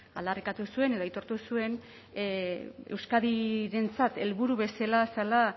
aldarrikatu zuen edo aitortu zuen euskadirentzat helburu bezala zela